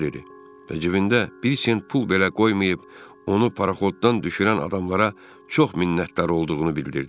Və cibində bir sent pul belə qoymayıb, onu paraxotdan düşürən adamlara çox minnətdar olduğunu bildirdi.